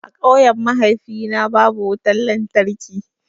A ƙauyen mahaifina babu wutan lantarki.